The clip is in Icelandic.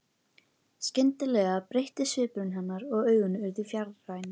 Skyndilega breyttist svipur hennar og augun urðu fjarræn.